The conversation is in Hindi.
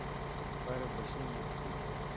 पर बसें मिलती हैं